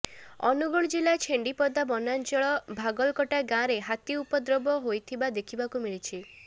ଅନୁଗୁଳ ଜିଲ୍ଲା ଛେଣ୍ତିପଦା ବନାଞ୍ଚଳ ଭାଗଲକଟା ଗାଁରେ ହାତୀ ଉପଦ୍ରବ୍ୟ ହୋଇଥିବା ଦେଖିବାକୁ ମିଳିଛି